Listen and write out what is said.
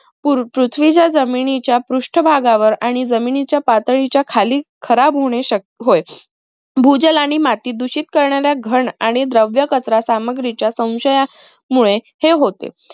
पूर पृथ्वीच्या जमिनीच्या पृष्ठ भागावर आणि जमिनीच्या पातळीच्या खाली खराब होणे श होय. भूजल आणि माती दूषित करणाऱ्या घण आणि द्रव्य कचरा सामग्रीच्या सौंशया मुळे हे होते.